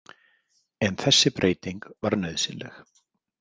En þessi breyting var nauðsynleg.